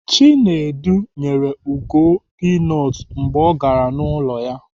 Chinwendu nyere Ugo pinut mgbe ọ gara n'ụlọ ya